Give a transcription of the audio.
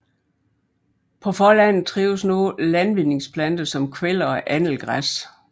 På forlandet trives nu landvindingsplanter som kveller og annelgræs